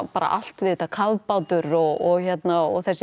bara allt við þetta kafbátur og þessi